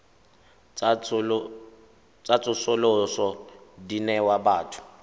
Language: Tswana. tsa tsosoloso di newa batho